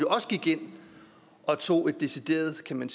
også gik ind og tog et decideret man